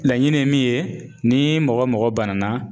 Laɲini ye min ye ni mɔgɔ o mɔgɔ banana